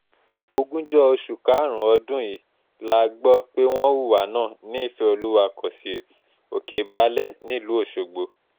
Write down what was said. ogúnjọ oṣù karùn-ún ọdún yìí la gbọ́ pé wọ́n hùwà náà ní ìfẹ́olúwa cociété òkè-baálẹ̀ nílùú ọ̀ṣọ́gbó